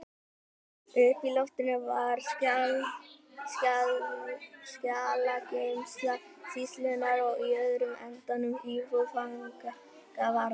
Uppi á loftinu var skjalageymsla sýslunnar og í öðrum endanum íbúð fangavarðar.